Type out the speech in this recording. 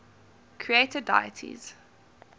creator deities